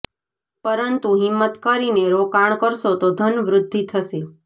પરંતુ હિંમત કરીને રોકાણ કરશો તો ધન વૃદ્ધિ થશે